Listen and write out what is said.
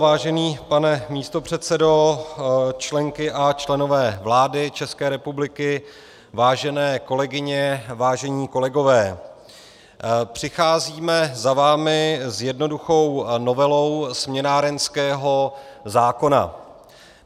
Vážený pane místopředsedo, členky a členové vlády České republiky, vážené kolegyně, vážení kolegové, přicházíme za vámi s jednoduchou novelou směnárenského zákona.